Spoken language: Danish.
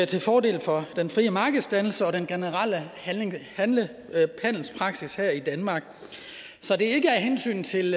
til fordel for den frie markedsdannelse og den generelle handelspraksis her i danmark så det er ikke af hensyn til